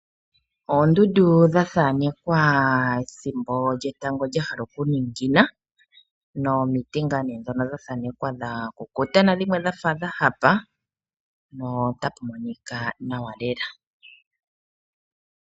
Oondundu dha thaanekwa ethimbo lyetango lya hala okuningina, nomiti nga ndhono dha thaanekwa dha kukuta, nadhimwe dha fa dha hapa notadhi monika nawa lela.